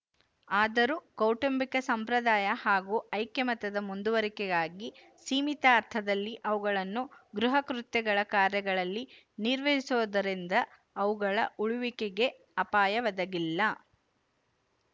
ಆದರೂ ಕೌಟುಂಬಿಕ ಸಂಪ್ರದಾಯ ಹಾಗೂ ಐಕ್ಯಮತ್ಯದ ಮುಂದುವರಿಕೆಗಾಗಿ ಸೀಮಿತ ಅರ್ಥದಲ್ಲಿ ಅವುಗಳನ್ನು ಗೃಹಕೃತ್ಯಗಳ ಕಾರ್ಯಗಳಲ್ಲಿ ನಿರ್ವಹಿಸಿರುವುದರಿಂದ ಅವುಗಳ ಉಳಿಯುವಿಕೆಗೆ ಅಪಾಯ ಒದಗಿಲ್ಲ